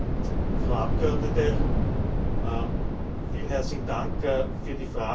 Frau Abgeordnete, vielen herzlichen Dank für die Frage.